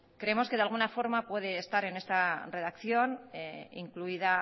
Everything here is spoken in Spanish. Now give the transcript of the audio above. creemos que de alguna forma puede estar en esta redacción incluida